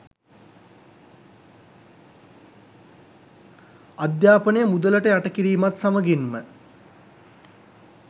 අධ්‍යාපනය මුදලට යට කිරීමත් සමගින්ම